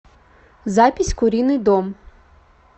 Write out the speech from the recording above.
запись куриный дом